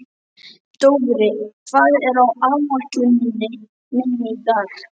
Dofri, hvað er á áætluninni minni í dag?